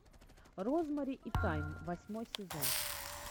розмари и тайм восьмой сезон